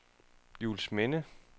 Juelsminde